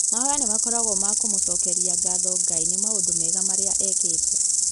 Mahoya nĩmakoragwo ma kũmũcokeria ngatho Ngai nĩ maũndũ mega marĩa ekĩte